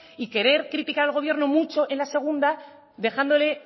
y querer criticar al gobierno mucho en la segunda dejándole